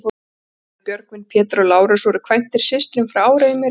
Þeir bræður, Björgvin, Pétur og Lárus, voru kvæntir systrum frá Áreyjum í Reyðarfirði.